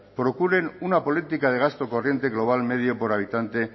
procuren una política de gasto corriente global medio por habitante